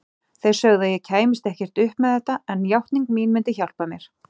Þeir sögðu að ég kæmist ekkert upp með þetta, en játning mín myndi hjálpa mér.